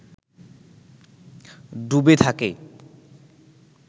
ডুবে থাকে